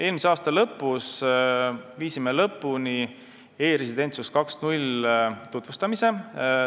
Eelmise aasta lõpus viisime lõpuni e-residentsus 2.0 tutvustamise.